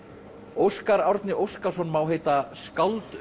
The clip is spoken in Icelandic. Óskar Árni Óskarsson má heita skáld